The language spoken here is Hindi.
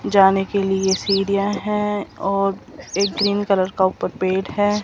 जाने के लिए सीढ़ियां हैं और एक ग्रीन कलर का ऊपर पेट है।